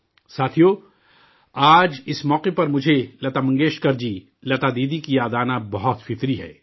ساتھیو، آج اس موقع پر مجھے لتا منگیشکر جی، لتا دیدی کی یاد آنا بہت فطری ہے